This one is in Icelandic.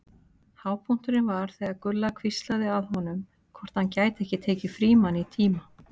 Hápunkturinn var þegar Gulla hvíslaði að honum hvort hann gæti ekki tekið Frímann í tíma.